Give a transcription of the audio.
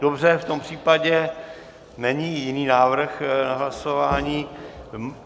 Dobře, v tom případě není jiný návrh na hlasování.